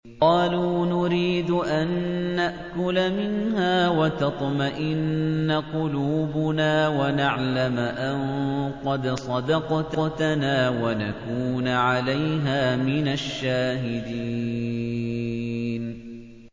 قَالُوا نُرِيدُ أَن نَّأْكُلَ مِنْهَا وَتَطْمَئِنَّ قُلُوبُنَا وَنَعْلَمَ أَن قَدْ صَدَقْتَنَا وَنَكُونَ عَلَيْهَا مِنَ الشَّاهِدِينَ